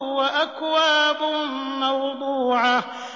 وَأَكْوَابٌ مَّوْضُوعَةٌ